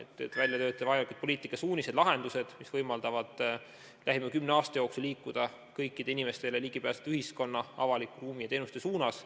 Tuleb välja töötada poliitikasuunised, lahendused, mis võimaldavad lähima kümne aasta jooksul liikuda kõikidele inimestele ligipääsetava avaliku ruumi ja teenuste suunas.